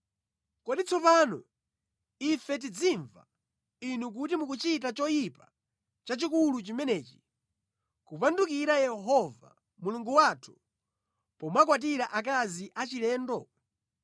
Kodi tsopano ife tizimva inu kuti mukuchita choyipa chachikulu chimenechi, kupandukira Yehova Mulungu wathu pomakwatira akazi achilendo?”